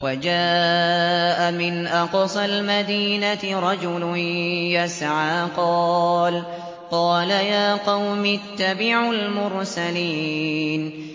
وَجَاءَ مِنْ أَقْصَى الْمَدِينَةِ رَجُلٌ يَسْعَىٰ قَالَ يَا قَوْمِ اتَّبِعُوا الْمُرْسَلِينَ